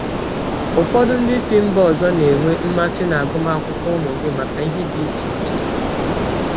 Ụfọdụ ndị si mba ọzọ na-enwe mmasị n’agụmakwụkwọ ụmụ gị maka ihe dị iche iche.